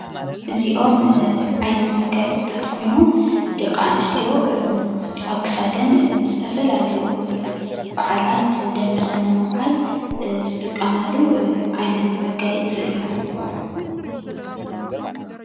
እዚኦም ዓይነት መጋየፂትታት ኮይኑ ደቂ ኣንስትዮ ኣብ ክሳደን ንዝተፈላለዩ በዓላት ደሚቐን ንምውዓል ዝጥቀማሉ ዓይነት መጋየፂ እዩ።